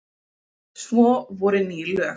Svo voru ný lög.